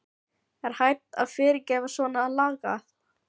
Er hægt að fyrirgefa svona lagað?